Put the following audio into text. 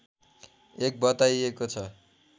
एक बताइएको छ